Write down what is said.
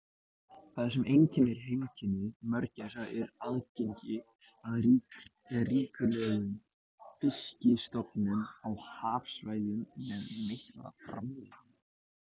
Það sem einkennir heimkynni mörgæsa er aðgengi að ríkulegum fiskistofnum á hafsvæðum með mikla framleiðni.